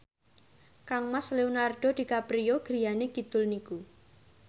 kangmas Leonardo DiCaprio griyane kidul niku